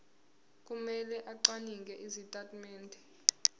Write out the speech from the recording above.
kumele acwaninge izitatimende